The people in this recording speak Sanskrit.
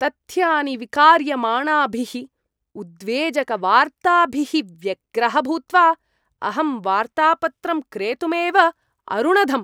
तथ्यानि विकार्यमाणाभिः उद्वेजकवार्ताभिः व्यग्रः भूत्वा अहं वार्तापत्रं क्रेतुमेव अरुणधम्।